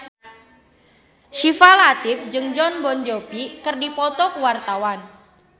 Syifa Latief jeung Jon Bon Jovi keur dipoto ku wartawan